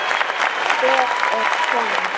En hver er konan?